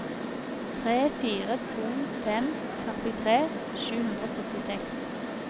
tre fire to fem førtitre sju hundre og syttiseks